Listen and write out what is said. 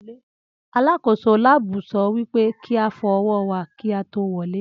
Alákòóso láàbù so wípé kíá fọ ọwọ́ wà kíá tó wọlé